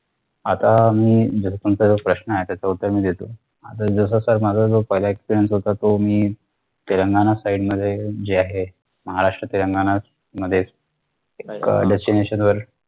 आता मी जर तुमचा जो प्रश्न आहे त्याच उत्तर मी देतो आता जस sir माझा जो पाहिलं experience होता तो मी तेलंगणा side मध्ये जे आहे महाराष्ट्र तेलंगणा मध्ये एक अह destination वर